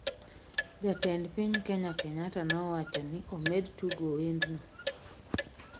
jatend piny kenya Kenyatta nowachoni omed tugo wendno